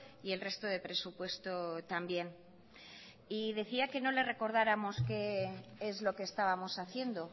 y el resto de presupuesto también y decía que no le recordáramos que es lo qué estábamos haciendo